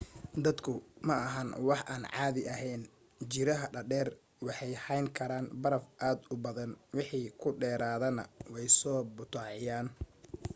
daadadku ma ahan wax aan caadi aheyn ;jiiraha dhaadheer waxay hayn karaan baraf aad u badan wixii ku dheeraadana way soo butaacinayaan